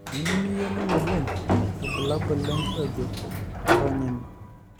teneiyieu niyiolou oleng irbulabol le nkiyioget, ironya ene